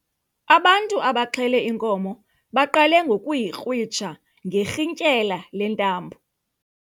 Abantu abaxhele inkomo baqale ngokuyikrwitsha ngerhintyela lentambo.